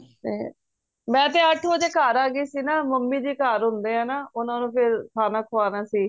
ਤੇ ਮੈਂ ਤੇ ਅੱਠ ਵਜੇ ਘਰ ਆਗਯੀ ਸੀ ਨਾ ਮੰਮੀ ਜੀ ਘਰ ਹੁੰਦੇ ਏ ਨਾ ਉਹਨਾਂ ਨੂੰ ਫੇਰ ਖਾਣਾ ਖੁਆਣਾ ਸੀ